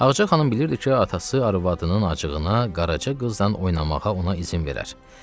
Ağacə xanım bilirdi ki, atası arvadının acığına qaraca qızla oynamağa ona izin verər.